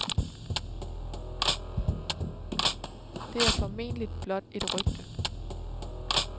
Det er forhåbentlig blot et rygte.